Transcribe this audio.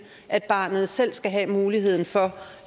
at barnet selv skal have muligheden for